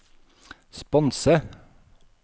sponse